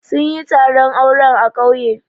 Sun yi taron auren a ƙauye.